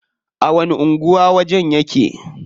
A wani anguwa wajen yake?